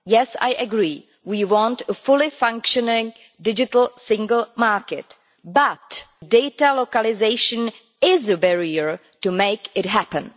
Yes, I agree, we want a fully functioning digital single market, but data localisation is a barrier to making it happen.